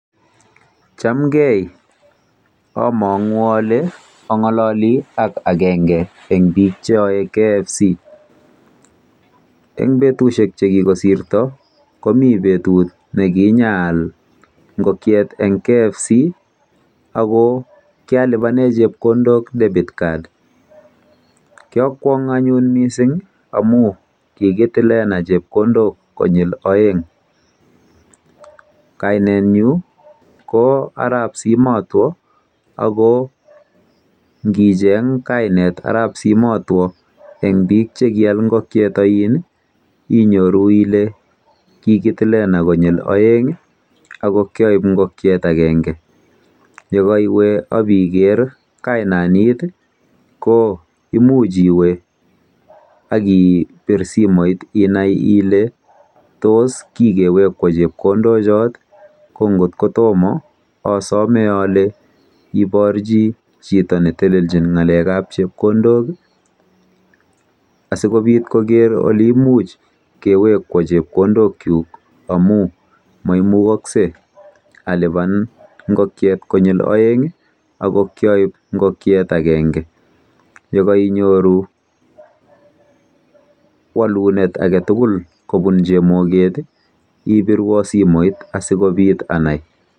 Chamgei. Anang'u ale ang'alali ak akenge eng bik cheae KFC.Eng betusiek chekikosirto komi betut nekinyaal nkokiet eng KFC ako kialipane chepkondok debit card.